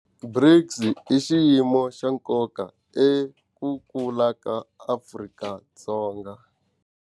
BRICS i xiyimo xa nkoka eku kula ka Afrika-Dzonga.